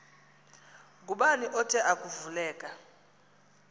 ngubani othe akuvuleka